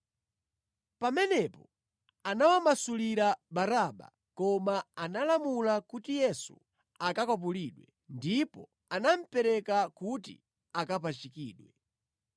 Pamenepo anawamasulira Baraba koma analamula kuti Yesu akakwapulidwe, ndipo anamupereka kuti akapachikidwe.